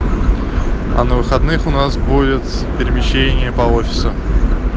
а на выходных у нас будет перемещение по офису